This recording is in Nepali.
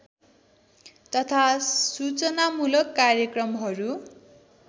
तथा सूचनामूलक कार्यक्रमहरू